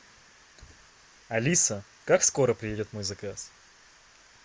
алиса как скоро приедет мой заказ